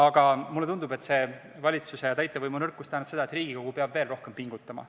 Ja mulle tundub, et see valitsuse ja täitevvõimu nõrkus tähendab seda, et Riigikogu peab veel rohkem pingutama.